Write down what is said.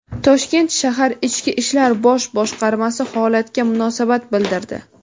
Toshkent shahar Ichki ishlar bosh boshqarmasi holatga munosabat bildirdi.